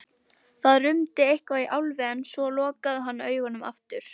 Það rumdi eitthvað í Álfi en svo lokaði hann augunum aftur.